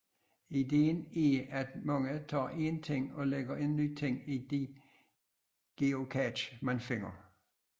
Ideen er at man tager en ting og lægger en ny ting i de geocacher man finder